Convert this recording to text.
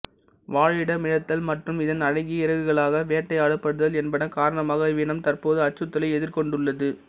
வாழிடமிழத்தல் மற்றும் இதன் அழகிய இறகுகளுக்காக வேட்டையாடப்படுதல் என்பன காரணமாக இவ்வினம் தற்போது அச்சுறுத்தலை எதிர்கொண்டுள்ளது